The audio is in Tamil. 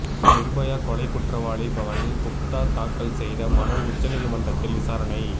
நிர்பயா கொலை குற்றவாளி பவன் குப்தா தாக்கல் செய்த மனு உச்சநீதிமன்றத்தில் விசாரணை